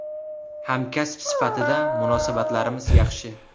Hamkasb sifatida munosabatlarimiz yaxshi.